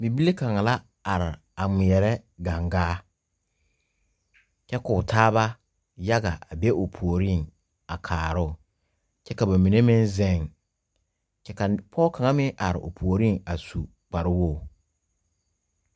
Bibile kang la arẽ a ngmiree gang gaa kye kou taaba yaga a be ɔ poɔring a kaaroo kye ka ba mene meng zeng kye ka poɔ kang meng arẽ ɔ pouring a su kpare wɔgi.